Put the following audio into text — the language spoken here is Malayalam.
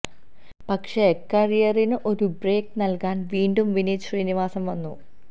പക്ഷെ കരിയറിന് ഒരു ബ്രേക്ക് നല്കാന് വീണ്ടും വിനീത് ശ്രീനിവാസന് വന്നു